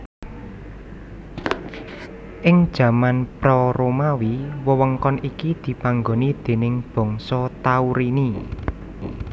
Ing jaman pra Romawi wewengkon iki dipanggoni déning bangsa Taurini